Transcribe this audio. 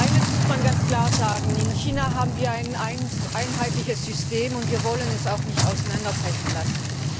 Eines muss man ganz klar sagen In China haben wir ein einheitliches System, und wir wollen es auch nicht auseinanderbrechen lassen!